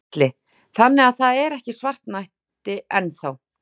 Gísli: Þannig að það er ekki svartnætti enn þá?